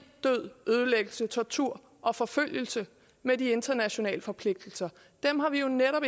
død ødelæggelse tortur og forfølgelse med de internationale forpligtelser dem har vi jo netop